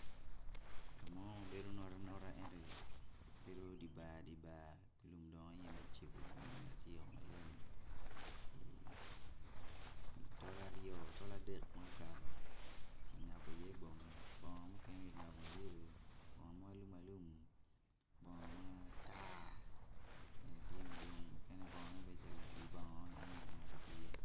Ka mo ma obedo notanota obedo dye nar lumme tye macego tol dek ma okato ki ngobo iye bongo gubedo bongo matar mukene gibedo calo la i bongo bene tye.